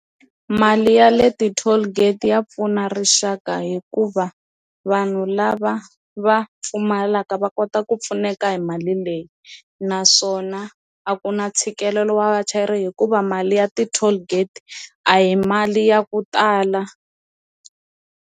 Mali ya le ti-tollgate ya pfuna rixaka hikuva vanhu lava va pfumalaka va kota ku pfuneka hi mali leyi naswona a ku na ntshikelelo wa vachayeri hikuva mali ya ti-tollgate a hi mali ya ku tala.